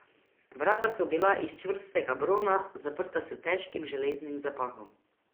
Vrata so bila iz čvrstega brona, zaprta s težkim železnim zapahom.